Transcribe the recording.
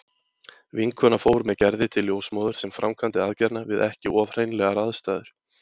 Vinkona fór með Gerði til ljósmóður sem framkvæmdi aðgerðina við ekki of hreinlegar aðstæður.